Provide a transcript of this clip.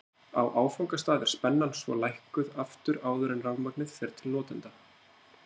á áfangastað er spennan svo lækkuð aftur áður en rafmagnið fer til notenda